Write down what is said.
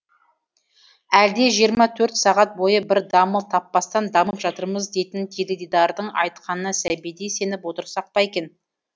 әлде жиырма төрт сағат бойы бір дамыл таппастан дамып жатырмыз дейтін теледидардың айтқанына сәбидей сеніп отырсақ па екен